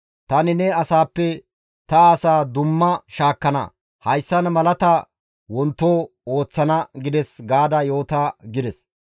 Tani ne asaappe ta asaa dumma shaakkana; hayssan malaata wonto ooththana› gides gaada yoota» gides.